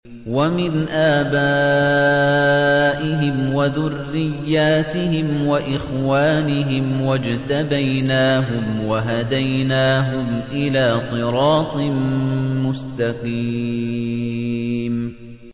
وَمِنْ آبَائِهِمْ وَذُرِّيَّاتِهِمْ وَإِخْوَانِهِمْ ۖ وَاجْتَبَيْنَاهُمْ وَهَدَيْنَاهُمْ إِلَىٰ صِرَاطٍ مُّسْتَقِيمٍ